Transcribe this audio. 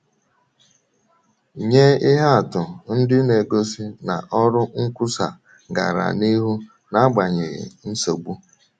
Nye ihe atụ ndị na - egosi na ọrụ nkwusa gara n’ihu n’agbanyeghị nsogbu.